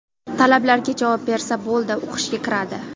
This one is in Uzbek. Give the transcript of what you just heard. Talablarga javob bersa bo‘ldi, o‘qishga kiradi.